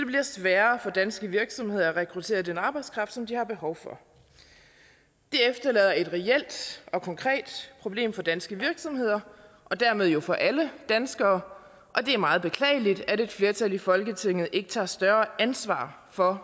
sværere for danske virksomheder at rekruttere den arbejdskraft som de har behov for det efterlader et reelt og konkret problem for danske virksomheder og dermed jo for alle danskere og det er meget beklageligt at et flertal i folketinget ikke tager større ansvar for